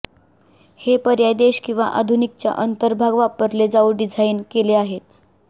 हे पर्याय देश किंवा आधुनिक च्या अंतर्भाग वापरले जाऊ डिझाइन केले आहेत